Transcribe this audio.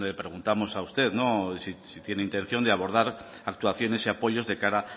pues le preguntamos a usted si tiene intención de abordar actuaciones y apoyos de cara